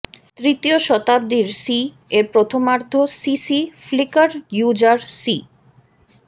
তৃতীয় শতাব্দীর সিই এর প্রথমার্ধ সিসি ফ্লিকার ইউজার সিই